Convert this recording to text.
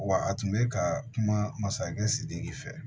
Wa a tun bɛ ka kuma masakɛ sidiki fɛ